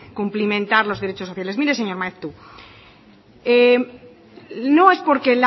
cumplimentar los derechos sociales mire señor maeztu no es porque